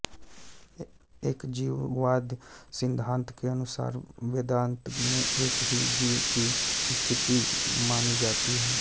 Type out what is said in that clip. एकजीववाद सिद्धांत के अनुसार वेदांत में एक ही जीव की स्थिति मानी जाती है